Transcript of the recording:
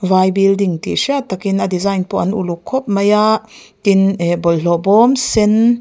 vai building tih hriat takin a design pawh an uluk khawp mai a tin ah bawlhhlawh bawm sen--